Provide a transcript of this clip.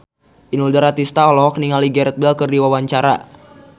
Inul Daratista olohok ningali Gareth Bale keur diwawancara